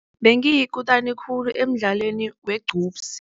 Bengiyikutani khulu emdlalweni weqhubsi.